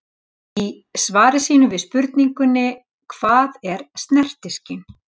Í svari sínu við spurningunni Hvað er snertiskyn?